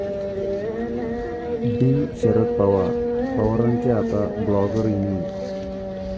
Bing Sharad Pawar', पवारांची आता blogger inning